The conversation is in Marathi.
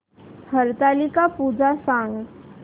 हरतालिका पूजा सांग